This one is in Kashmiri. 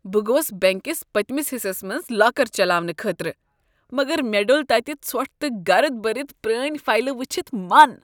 بہٕ گوس بنٛک کس پٔتمس حصس منٛز لاکر چلاونہٕ خٲطرٕ، مگر مےٚ ڈوٚل تتہ ژھۄٹھ تہٕ گرد بٔرتھ پرٲنہ فایلہٕ وٕچھتھ من۔